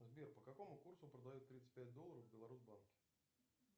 сбер по какому курсу продают тридцать пять долларов в беларусбанке